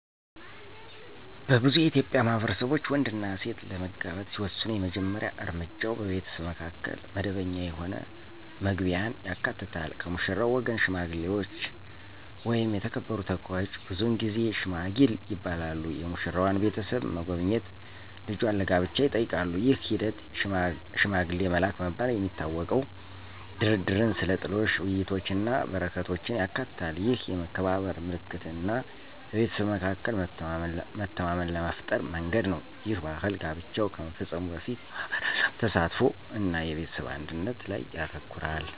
በብዙ የኢትዮጵያ ማህበረሰቦች፣ ወንድና ሴት ለመጋባት ሲወስኑ የመጀመሪያ እርምጃው በቤተሰቡ መካከል መደበኛ የሆነ መግቢያን ያካትታል። ከሙሽራው ወገን ሽማግሌዎች ወይም የተከበሩ ተወካዮች (ብዙውን ጊዜ "ሺማጊል" ይባላሉ) የሙሽራዋን ቤተሰብ መጎብኘት እጇን ለጋብቻ ይጠይቃሉ። ይህ ሂደት፣ “ሽማግሌ መላክ” በመባል የሚታወቀው፣ ድርድርን፣ ስለ ጥሎሽ ውይይቶችን እና በረከቶችን ያካትታል። ይህ የመከባበር ምልክት እና በቤተሰብ መካከል መተማመንን ለመፍጠር መንገድ ነው. ይህ ባህል ጋብቻው ከመፈጸሙ በፊት የማህበረሰብ ተሳትፎ እና የቤተሰብ አንድነት ላይ ያተኩራል።